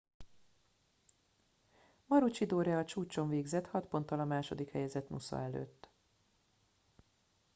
maroochydore a csúcson végzett hat ponttal a második helyezett noosa előtt